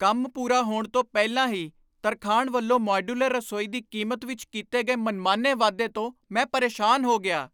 ਕੰਮ ਪੂਰਾ ਹੋਣ ਤੋਂ ਪਹਿਲਾਂ ਹੀ ਤਰਖਾਣ ਵੱਲੋਂ ਮਾਡਿਊਲਰ ਰਸੋਈ ਦੀ ਕੀਮਤ ਵਿੱਚ ਕੀਤੇ ਗਏ ਮਨਮਾਨੇ ਵਾਧੇ ਤੋਂ ਮੈਂ ਪਰੇਸ਼ਾਨ ਹੋ ਗਿਆ।